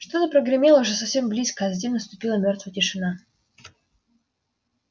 что-то прогремело уже совсем близко затем наступила мёртвая тишина